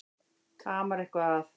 Það amar eitthvað að.